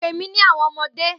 Pe mi ni awọn ọmọde!